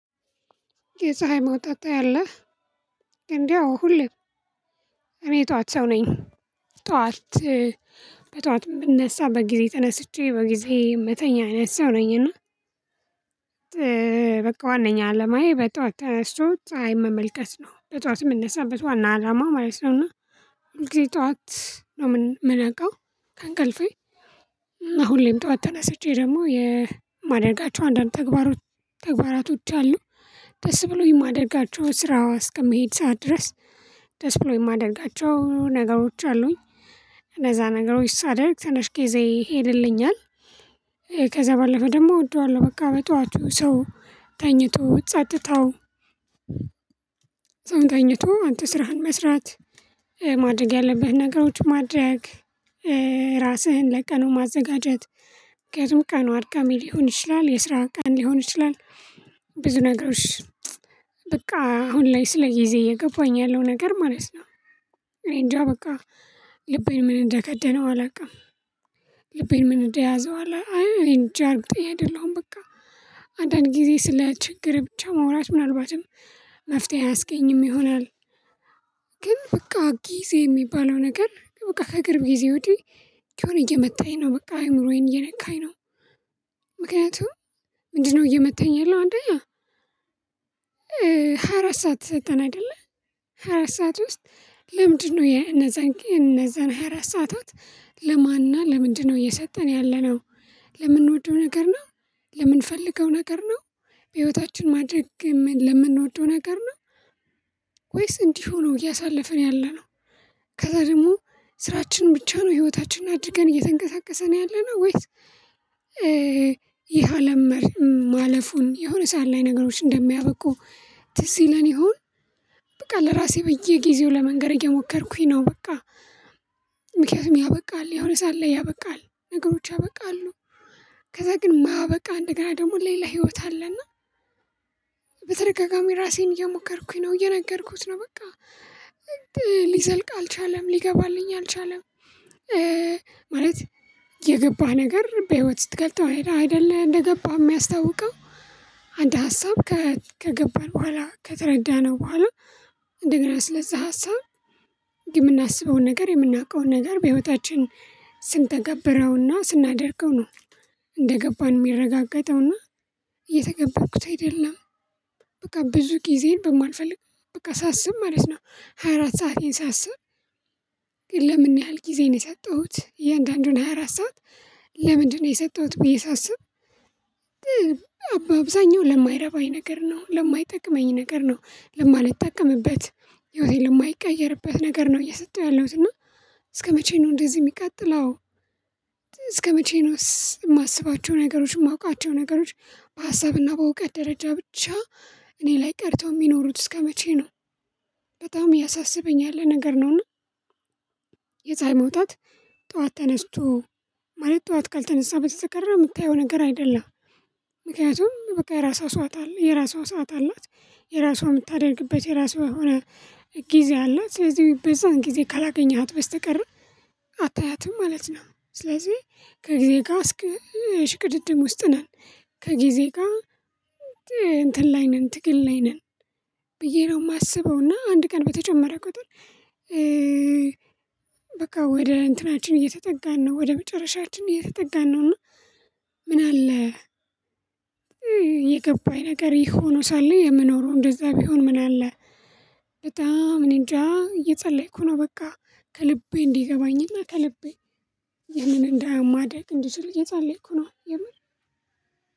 የፀሀይ መውጣት ታያለህ እንደው ሁሌ እቤት ጠዋት ሰው ነኝ። በጧት የምነሳ በጊዜ ተነስቼ በጊዜ ምተኛ አይነት ሰው ነኝና። በቃ ዋነኛው አለማዬ በጧት ተነስቶ ፀሀይ መመልከት ነው በጧትም እንሰማበት ዋና አላማ ማየት ነው። እና ሁል ጊዜ ጠዋት ነው የምነቃው ከእንቅልፌ እና ሁሌም ጠዋት ተነስቼ ደግሞ የማደርጋቸው አንዳንድ ተግባራቶች አሉ። ደስ ብሎኝ የማደርጋቸው ስራዋ እስከመሄድ ሰዓት ድረስ ደስ ብሎኝ የማደርጋቸው ነገሮች አሉኝ። እንዛ ነገሮች ሳደርግ ተነሽቄ ዘይ ሄድልኛል። ከዛ ባለፈ ደግሞ እወደዋለሁ በቃ በጧቸው ሰው ተኝቶ ጸጥታው። ሰውን ተኝቶ አንተ ስራህን መስራት ማድረግ ያለብህን ነገሮች ማድረግ ራስህን ለቀኑ ማዘጋጀት። ምክንያቱም ቀኑ አርካሚ ሊሆን ይችላል የስራ ቀን ሊሆን ይችላል። ብዙ ነገሮች በቃ አሁን ላይ ስለ ጊዜ የገባኝ ያለው ነገር ማለት ነው። እኔ እንጃ በቃ ልቤን ምን እንደከደነው አላውቅም። ልቤን ምን እንደያዘው አላውቅም አይ እኔ እንጃ አርግጠኝ አይደለሁም በቃ። አንዳንድ ጊዜ ስለ ችግር ብቻ መውራት ምናልባትም መፍትሄ አያስገኝም ይሆናል። ግን በቃ ጊዜ የሚባለው ነገር በቃ ከእግር ጊዜ ወዲህ የሆነ እየመታኝ ነው በቃ አእምሮዬን እየነካኝ ነው። ምክንያቱም ምንድነው እየመተኝ የለውም። አንደኛ ሃያ አራት ሰዓት ሰጠን አይደለ? ሃያ አራት ሰዓት ውስጥ ለምንድነው የነዛን የነዛን ሃያ አራት ሰዓታት ለማንና ለምንድነው እየሰጠን ያለነው? ለምንወደው ነገር ነው። ለምንፈልገው ነገር ነው። በህይወታችን ማድረግ ለምንወደው ነገር ነው። ወይስ እንዲህ ሆኖ እያሳለፍን ያለነው? ከዛ ደግሞ ስራችን ብቻ ነው ህይወታችንን አድርገን እየተንቀሳቀሰን ያለነው ወይስ? ይሄ አለም ማለፉን የሆነ ሰዓት ላይ ነገሮች እንደሚያበቁ ዲሲለን ይሁን። በቃ ለራሴ በየጊዜው ለመንገር የሞከርኩኝ ነው በቃ። ምክንያቱም ያበቃል የሆነ ሰዓት ላይ ያበቃል ነገሮች ያበቃሉ። ከዛ ግን ማበቃ እንደገና ደግሞ ሌላ ህይወት አለና። በተደጋጋሚ ራሴን እየሞከርኩኝ ነው እየነገርኩት ነው በቃ። ሊዘልቅ አልቻለም ሊገባልኝ አልቻለም። ማለት የገባህ ነገር በህይወት ስትገልጠው አይደለ እንደገባህ የሚያስታውቀው? አንድ ሀሳብ ከገባን በኋላ ከተረዳነው በኋላ። እንደገና ስለዛ ሀሳብ የምናስበውን ነገር የምናውቀውን ነገር በህይወታችን ስንተገብረውና ስናደርገው ነው። እንደገባን የሚረጋገጠውና እየተገበርኩት አይደለም። በቃ ብዙ ጊዜን በማልፈልግ በቃ ሳስብ ማለት ነው። ሃያ አራት ሰአቴን ሳስብ። ግን ለምን ያህል ጊዜ ነው የሰጠሁት እያንዳንዱን ሃያ አራት ሰዓት ለምንድነው የሰጠሁት ብዬ ሳስብ። አባ አብዛኛው ለማይረባኝ ነገር ነው ለማይጠቅመኝ ነገር ነው ለማልጠቀምበት ህይወቴን ለማይቀየርበት ነገር ነው እየሰጠሁ ያለሁት እና። እስከመቼ ነው እንደዚህ የሚቀጥለው? እስከመቼ ነው የማስባቸው ነገሮች የማውቃቸው ነገሮች በሀሳብና በእውቀት ደረጃ ብቻ እኔ ላይ ቀርተው የሚኖሩት እስከመቼ ነው? በጣም ያሳስበኝ ያለ ነገር ነውና። የፀሀይ መውጣት ጠዋት ተነስቶ ማለት ጠዋት ካልተነሳ በተሰቀረ የምታየው ነገር አይደለም። ምክንያቱም በቃ የራሷ ሰዓት አላት የራሷ ሰዓት አላት። የራሷ የምታደርግበት የራሷ የሆነ ጊዜ አላት። ስለዚህ በዛን ጊዜ ካላገኘሃት በስተቀር አታያትም ማለት ነው። ስለዚህ ከጊዜ ጋር እስከ እሽቅድድም ውስጥ ነን። ከጊዜ ጋር እንትን ላይ ነን ትግል ላይ ነን። ብዬ ነው የማስበው እና አንድ ቀን በተጨመረ ቁጥር። በቃ ወደ እንትናችን እየተጠጋን ነው ወደ መጨረሻችን እየተጠጋን ነውና። ምን አለ? የገባኝ ነገር ይህ ሆኖ ሳለ የምኖረው እንደዛ ቢሆን ምን አለ? በጣም እኔንጃ እየጸለይኩ ነው። በቃ ከልቤ እንዲገባኝና ከልቤ ያንን እንደ ማደረግ እንዲችል እየፀለይኩ ነው። የምር